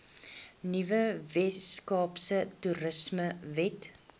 nuwe weskaapse toerismewet